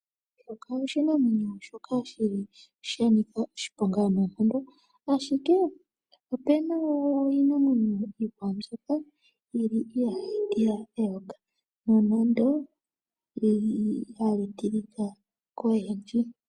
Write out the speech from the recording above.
Eyoka oshinamwenyo shono shanika oshiponga noonkondo ashike opena iinamwenyo iikwawo mbyoka yili ihayi tila eyoka nando olyili hali tilika koyendji .